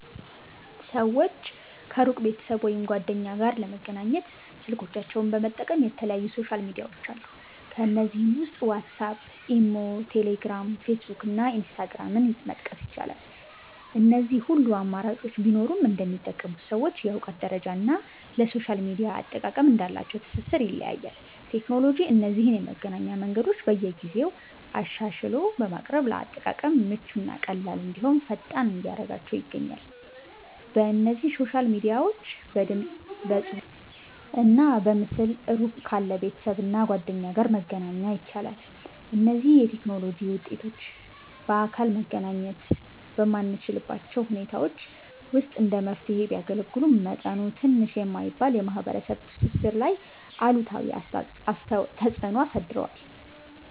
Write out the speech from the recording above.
ሰወች ከሩቅ ቤተሰብ ወይም ጓደኛ ጋር ለመገናኘት ስልኮቻቸውን በመጠቀም የተለያዩ ሶሻል ሚድያዎች አሉ። ከነዚህም ውስጥ ዋትስአፕ፣ ኢሞ፣ ቴሌግራም፣ ፌስቡክ እና ኢንስታግራምን መጥቀስ ይቻላል። እነዚህ ሁሉ አማራጮች ቢኖሩም እንደሚጠቀሙት ሰዎች የእውቀት ደረጃ እና ለሶሻል ሚድያ አጠቃቀም እንዳላቸው ትስስር ይለያያል። ቴክኖሎጂ እነዚህን የመገናኛ መንገዶች በየጊዜው አሻሽሎ በማቅረብ ለአጠቃቀም ምቹ እና ቀላል እንድሁም ፈጣን እያደረጋችው ይገኛል። በእነዚህ ሶሻል ሚድያዎች በድምፅ፣ በፅሁፍ እና በምስል እሩቅ ካለ ቤተሰብ እና ጓደኛ ጋር መገናኛ ይቻላል። እነዚህ የቴክኖሎጂ ውጤቶች በአካል መገናኘት በማንችልባቸው ሁኔታዎች ውስጥ እንደ መፍትሔ ቢያገለግሉም፤ መጠኑ ትንሽ የማይባል የማህበረሰብ ትስስር ላይ አሉታዊ ተፅእኖ አሳድረዋል።